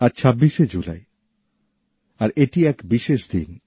আজ ২৬শে জুলাই আর এটি এক বিশেষ দিন